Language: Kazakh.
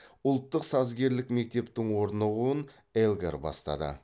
ұлттық сазгерлік мектептің орнығуын элгар бастады